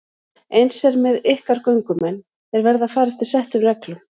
Eins er með ykkar göngumenn, þeir verða að fara eftir settum reglum.